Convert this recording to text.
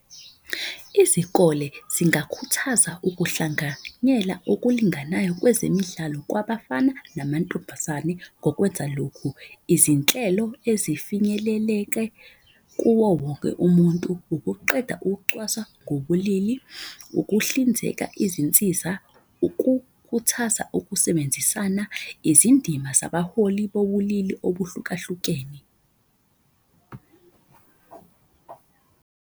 Izikole zingakhuthaza ukuhlanganyela okulinganayo kwezemidlalo kwabafana namantombazane ngokwenza lokhu. Izinhlelo ezifinyeleleke kuwo wonke umuntu, ukuqeda ukucwaswa ngobulili, ukuhlinzeka izinsiza, ukuhuthaza ukusebenzisana. Izindima zabaholi bobulili obuhlukahlukene.